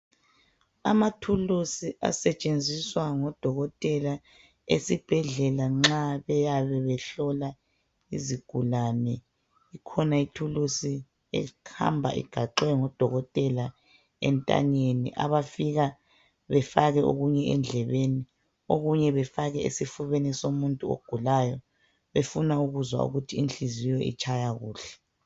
Amathuluzi asetshenziswa ngodokotela esibhedlela nxa beyabe behlola izigulane. Ikhona ithulusi ehamba igaxwe ngodokotela entanyeni abafika befake okunye endlebeni, okunye befake esifubeni somuntu ogulayo befuna ukuzwa ukuthi inhliziyo itshaya kuhle.